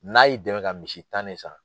N'a y'i dɛmɛ ka misi tan de san